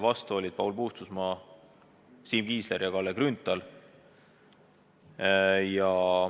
Vastu olid Paul Puustusmaa, Siim Kiisler ja Kalle Grünthal.